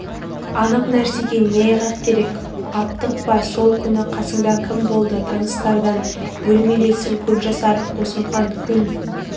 анық нәрсеге не айғақ керек аптықпа сол күні қасыңда кім болды таныстардан бөлмелесің көпжасаров қосымхан күн